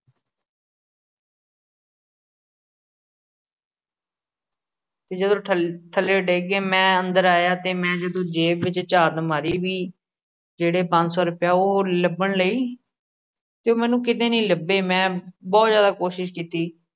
ਤੇ ਜਦੋ ਥੱਥੱਲੇ ਡਿੱਗ ਗਏ। ਮੈ ਅੰਦਰ ਆਇਆ ਤੇ ਮੈ ਜਦੋ ਜੇਬ ਵਿੱਚ ਝਾਤ ਮਾਰੀ ਵੀ ਜਿਹੜੇ ਪੰਜ ਸੌ ਰੁਪਏ ਲੱਭਣ ਲੀ ਤੇ ਉਹ ਮੈਨੂੰ ਕਿਤੇ ਨੀ ਲੱਭੇ, ਮੈ ਬਹੁਤ ਜਿਆਦਾ ਕੋਸ਼ਿਸ਼ ਕੀਤੀ।